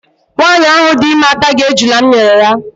Nwaanyị ahụ dị ime ataghị ejula m nyere ya.